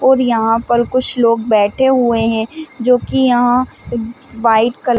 और यहाँ पर कुछ लोग बैठे हुए है जो की यहाँ व्हाइट कलर --